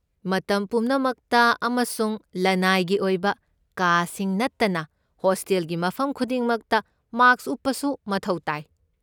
ꯃꯇꯝ ꯄꯨꯝꯅꯃꯛꯇ ꯑꯃꯁꯨꯡ ꯂꯅꯥꯏꯒꯤ ꯑꯣꯏꯕ ꯀꯥꯁꯤꯡ ꯅꯠꯇꯅ ꯍꯣꯁꯇꯦꯜꯒꯤ ꯃꯐꯝ ꯈꯨꯗꯤꯡꯃꯛꯇ ꯃꯥ꯭ꯁꯛ ꯎꯞꯄꯁꯨ ꯃꯊꯧ ꯇꯥꯏ꯫